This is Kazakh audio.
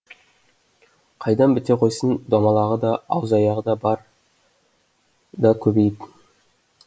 қайдан біте қойсын домалағы да аузы аяғы бар да көбейіп